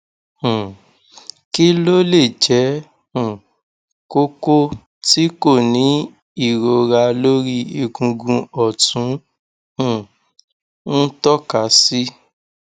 um kí ló lè jẹ um koko tí kò ní ìrora lórí egungun ọtún um ń tọka sí